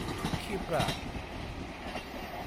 Kshipra